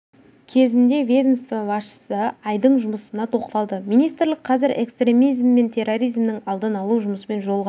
кезінде ведомство басшысы айдың жұмысына тоқталды министрлік қазір экстремизм мен терроризмнің алдын алу жұмысын жолға